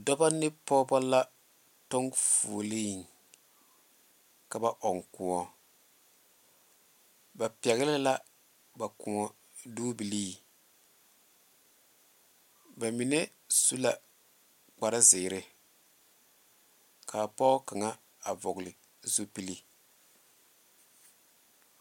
Dɔɔba ne pɔgeba la tɔŋ fuole ka ba ɔŋ kõɔ ba pegle la ba kõɔ dobilee ba mine su la kpare ziiri kaa pɔge kaŋa a vɔgle zupele.